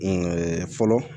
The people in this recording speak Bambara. fɔlɔ